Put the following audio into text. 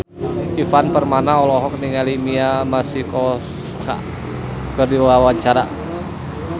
Ivan Permana olohok ningali Mia Masikowska keur diwawancara